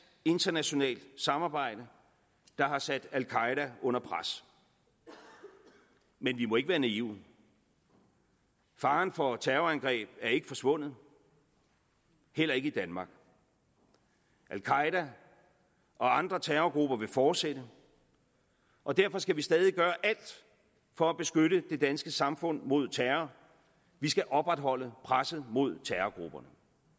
internationalt samarbejde der har sat al qaeda under pres men vi må ikke være naive faren for terrorangreb er ikke forsvundet heller ikke i danmark al qaeda og andre terrorgrupper vil fortsætte og derfor skal vi stadig gøre alt for at beskytte det danske samfund mod terror vi skal opretholde presset mod terrorgrupperne